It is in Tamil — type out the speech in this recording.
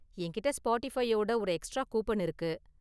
என்கிட்டே ஸ்பாட்டிபையோட ஒரு எக்ஸ்ட்ரா கூப்பன் இருக்கு.